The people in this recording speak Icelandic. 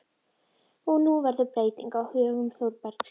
Og nú verður breyting á högum Þórbergs.